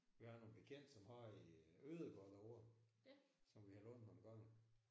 Vi har nogle bekendte som har en ødegård derovre som vi har lånt nogle gange